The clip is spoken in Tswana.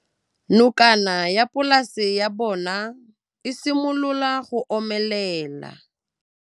Nokana ya polase ya bona, e simolola go omelela.